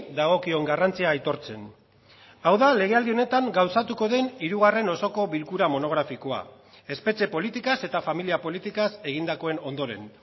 dagokion garrantzia aitortzen hau da legealdi honetan gauzatuko den hirugarren osoko bilkura monografikoa espetxe politikaz eta familia politikaz egindakoen ondoren